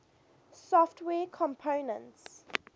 software components